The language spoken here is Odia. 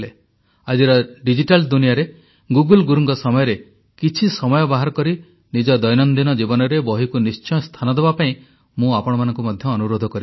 ଆଜିର ଡିଜିଟାଲ ଦୁନିଆରେ ଗୁଗଲ୍ ଗୁରୁଙ୍କ ସମୟରେ କିଛି ସମୟ ବାହାର କରି ନିଜ ଦୈନଦିନ ଜୀବନରେ ବହିକୁ ନିଶ୍ଚୟ ସ୍ଥାନ ଦେବା ପାଇଁ ମୁଁ ଆପଣମାନଙ୍କୁ ମଧ୍ୟ ଅନୁରୋଧ କରିବି